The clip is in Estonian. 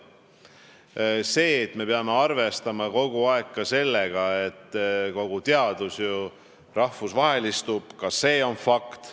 Ka see, et me peame kogu aeg arvestama, et kogu teadus ju rahvusvahelistub, on fakt.